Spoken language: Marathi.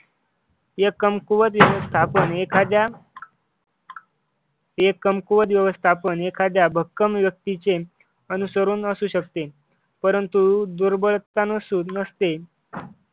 हे कमकुवत व्यवस्थापन एखाद्या हे कमकुवत व्यवस्थापन एखाद्या भक्कम व्यक्तीचे अनुसरण असू शकते परंतु दुर्बल त्यांना शुद्ध नसते.